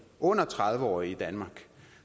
under tredive år i danmark